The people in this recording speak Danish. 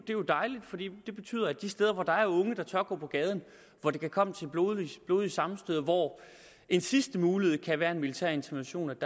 jo dejligt for det betyder at de steder hvor der er unge der tør gå på gaden hvor det kan komme til blodige blodige sammenstød og hvor en sidste mulighed kan være en militær intervention